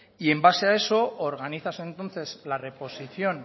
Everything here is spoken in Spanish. y en base a eso organizas entonces la reposición